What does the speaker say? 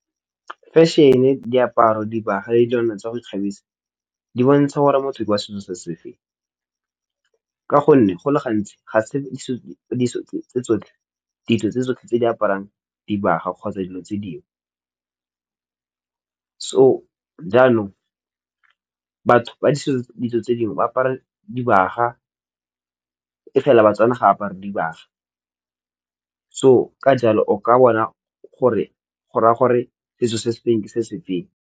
Fashion-e, diaparo, dibagwa, le dilwana tsa go ikgabisa di bontsha gore motho ke wa setso sa sefeng ka gonne go le gantsi ga se ditso tsotlhe tse di aparang dibaga kgotsa dilo tse dingwe, so jaanong batho ba ditso tse dingwe ba apara dibaga e fela baTswana ga apara dibaga so ka jalo o ka bona gore go ra ya gore setso se sefeng ke se sefeng.